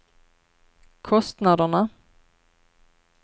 kostnaderna